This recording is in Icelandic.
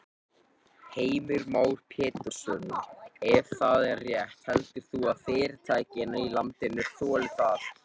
Heimir Már Pétursson: Ef það er rétt heldur þú að fyrirtækin í landinu þoli það?